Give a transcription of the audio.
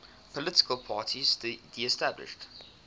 political parties disestablished